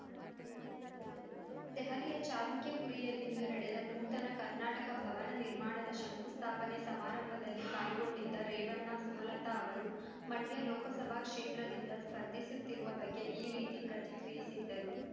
ದೆಹಲಿಯ ಚಾಲುಕ್ಯಪುರಿಯಲ್ಲಿಂದು ನಡೆದ ನೂತನ ಕರ್ನಾಟಕ ಭವನ ನಿರ್ಮಾಣದ ಶಂಕುಸ್ಥಾಪನೆ ಸಮಾರಂಭದಲ್ಲಿ ಪಾಲ್ಗೊಂಡಿದ್ದ ರೇವಣ್ಣ ಸುಮಲತಾ ಅವರು ಮಂಡ್ಯ ಲೋಕಸಭಾ ಕ್ಷೇತ್ರದಿಂದ ಸ್ಪರ್ಧಿಸುತ್ತಿರುವ ಬಗ್ಗೆ ಈ ರೀತಿ ಪ್ರತಿಕ್ರಿಯಿಸಿದ್ದರು